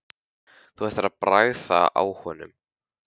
Þú ættir að bragða á honum